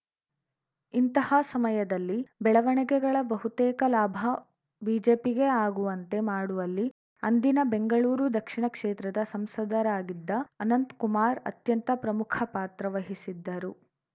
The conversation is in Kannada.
ಇಂತಹ ಸಮಯದಲ್ಲಿ ಬೆಳವಣಿಗೆಗಳ ಬಹುತೇಕ ಲಾಭ ಬಿಜೆಪಿಗೆ ಆಗುವಂತೆ ಮಾಡುವಲ್ಲಿ ಅಂದಿನ ಬೆಂಗಳೂರು ದಕ್ಷಿಣ ಕ್ಷೇತ್ರದ ಸಂಸದರಾಗಿದ್ದ ಅನಂತಕುಮಾರ್‌ ಅತ್ಯಂತ ಪ್ರಮುಖ ಪಾತ್ರ ವಹಿಸಿದ್ದರು